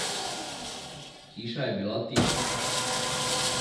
Hiša je bila tiha.